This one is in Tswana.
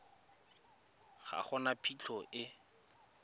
ga go na phitlho e